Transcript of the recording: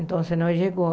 Então, não chegou.